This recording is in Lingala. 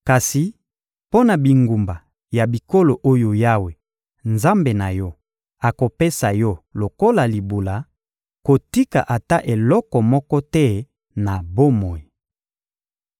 Kasi mpo na bingumba ya bikolo oyo Yawe, Nzambe na yo, akopesa yo lokola libula, kotika ata eloko moko te na bomoi.